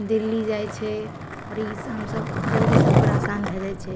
दिल्ली जाये छे और इ स हमसब जल्दी सफर आसान भय जाये छे।